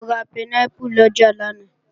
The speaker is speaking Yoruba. Mo ra pẹnápù lọjà lánàá